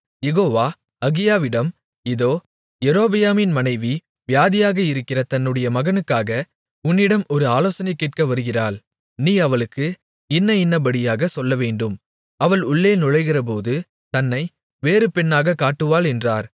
யெகோவா அகியாவினிடம் இதோ யெரொபெயாமின் மனைவி வியாதியாக இருக்கிற தன்னுடைய மகனுக்காக உன்னிடம் ஒரு ஆலோசனை கேட்க வருகிறாள் நீ அவளுக்கு இன்ன இன்னபடியாகச் சொல்லவேண்டும் அவள் உள்ளே நுழைகிறபோது தன்னை வேறு பெண்ணாகக் காட்டுவாள் என்றார்